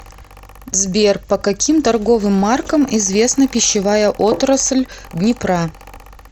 сбер по каким торговым маркам известна пищевая отрасль днепра